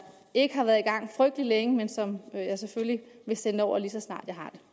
ikke har været i gang frygtelig længe men som jeg selvfølgelig vil sende over lige så snart